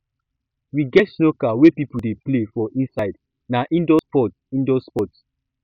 we get snooker wey pipo dey play for inside na indoor sport indoor sport